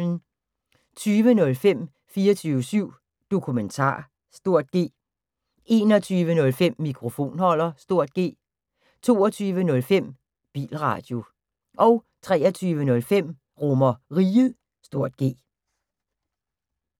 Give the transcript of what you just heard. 20:05: 24syv Dokumentar (G) 21:05: Mikrofonholder (G) 22:05: Bilradio 23:05: RomerRiget (G)